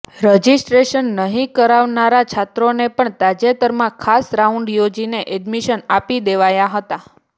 registration નહિ કરાવનારા છાત્રોને પણ તાજેતરમાં ખાસ રાઉન્ડ યોજીને એડમીશન આપી દેવાયા હતા